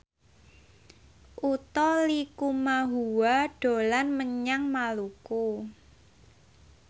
Utha Likumahua dolan menyang Maluku